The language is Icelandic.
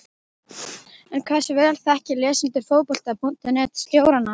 En hversu vel þekkja lesendur Fótbolta.net stjórana?